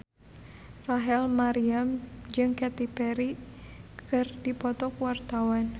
Rachel Maryam jeung Katy Perry keur dipoto ku wartawan